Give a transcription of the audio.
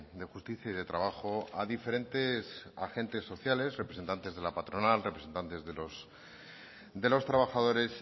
de justicia y de trabajo a diferentes agentes sociales representantes de la patronal representantes de los trabajadores